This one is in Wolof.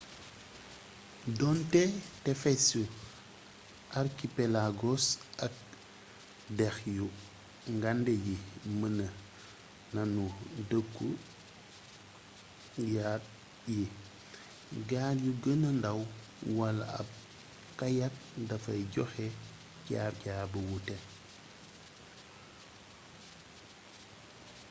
donte tefesu archipelagos ak dex yu ngande yi mën nanu dekku yaat yi gaal yu gëna ndaw wala ab kayak dafay joxe jaar jaar bu wute